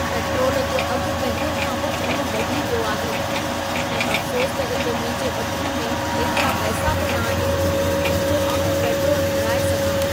Petrol जो अघु पहिरियों खां बि चङो वधी वियो आहे ऐं अफ्सोस त हिते मुंहिंजे ॿटूंअ में एतिरा पैसा बि न आहिनि जो आउं पेट्रोलु भराए सघां।